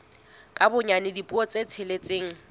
ka bonyane dipuo tse tsheletseng